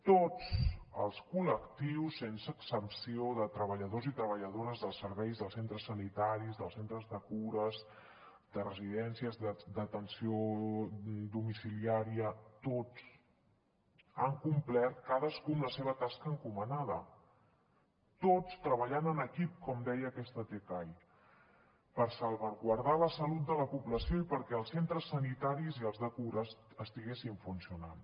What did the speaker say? tots els col·lectius sense excepció de treballadors i treballadores dels serveis dels centres sanitaris dels centres de cures de residències d’atenció domiciliària tots han complert cadascú amb la seva tasca encomanada tots treballant en equip com deia aquesta tcai per salvaguardar la salut de la població i perquè els centres sanitaris i els de cures estiguessin funcionant